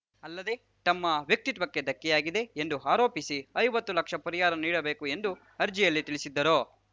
ಅಲ್ಲದೆ ತಮ್ಮ ವ್ಯಕ್ತಿತ್ವಕ್ಕೆ ಧಕ್ಕೆಯಾಗಿದೆ ಎಂದು ಆರೋಪಿಸಿ ಐವತ್ತು ಲಕ್ಷ ಪರಿಹಾರ ನೀಡಬೇಕು ಎಂದು ಅರ್ಜಿಯಲ್ಲಿ ತಿಳಿಸಿದ್ದರು